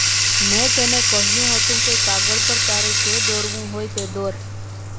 મેં તેને કહ્યું હતું કે કાગળ પર તારે જે દોરવું હોય એ દોર